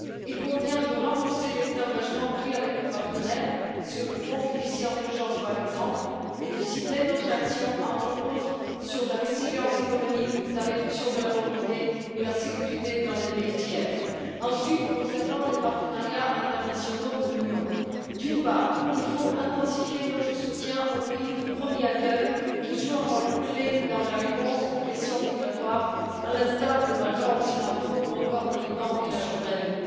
Il convient de renforcer les engagements pris avec nos partenaires, par exemple sur le Fonds fiduciaire d'urgence, et d'axer notre action, entre autres, sur la résilience économique, la réduction de la pauvreté et la sécurité dans les pays tiers. Ensuite, en ce qui concerne les partenariats internationaux de l'Union, il faut d'une part intensifier notre soutien aux pays de premier accueil qui jouent un rôle clé dans la réponse aux pressions migratoires, à l'instar des Balkans occidentaux ou encore du Liban et de la Jordanie.